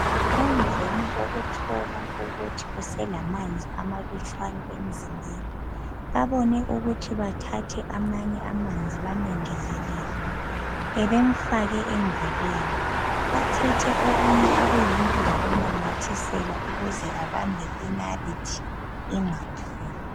Emveni kokuthola ukuthi uselemanzi amalutshwane emzimbeni babone ukuthi bathathe amanye amanzi bamegezelele bebemfake engalweni bathethe okunye okuyinto bakunamathisela ukuze abambe inalithi ingaphumi.